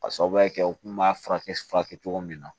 Ka sababuya kɛ u kun b'a furakɛ furakɛ cogo min na